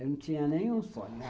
Eu não tinha nenhum sonho.